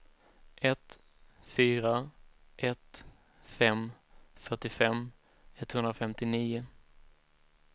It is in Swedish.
ett fyra ett fem fyrtiofem etthundrafemtionio